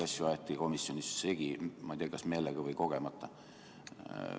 Neid asju aeti komisjonis segi, ma ei tea, kas meelega või kogemata.